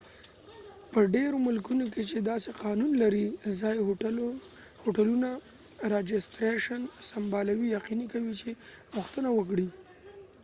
په ډیرو ملکونو کې چې دا سی قانون لري، ځایې هوټلونه راجستریشن سمبالوي یقینی کوي چې پوښتنه وکړي